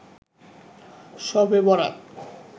শবে বরাত